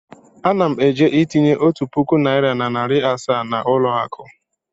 Ana m eje itinye otu puku naịra na narị asaa na ụlọ akụ.